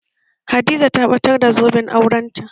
Hadiza ta batar da zoben aurenta